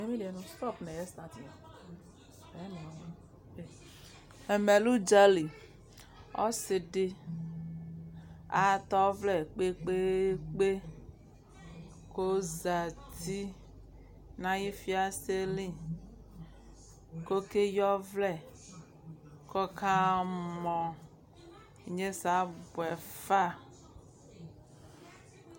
Ɛmɛ lɛ udzalɩ ɔsɩdɩ atɛ ɔwlɛ kpekpekpe kʊ ɔzatɩ nʊ ayʊ fiase li kʊ ɔkeyɩ ɔwlɛ kʊ ɔkamɔ ɩnyesɛ abuefa